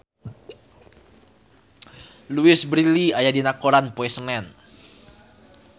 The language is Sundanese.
Louise Brealey aya dina koran poe Senen